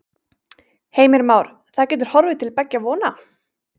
Heimir Már: Það getur horfið til beggja vona?